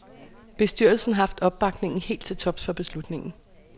Bestyrelsen har haft opbakning helt til tops for beslutningen.